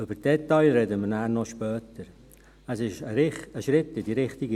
Über die Details werden wir später noch sprechen.